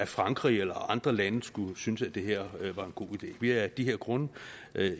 frankrig eller andre lande skulle synes at det her var en god idé vi er af de her grunde